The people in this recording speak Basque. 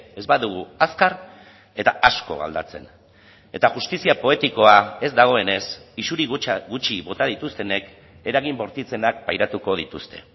ez badugu azkar eta asko aldatzen eta justizia poetikoa ez dagoenez isuri gutxi bota dituztenek eragin bortitzenak pairatuko dituzte